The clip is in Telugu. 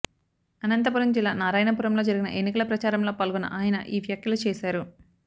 అనంతపురం జిల్లా నారాయణపురంలో జరిగిన ఎన్నికల ప్రచారంలో పాల్గొన్న ఆయన ఈ వ్యాఖ్యలు చేశారు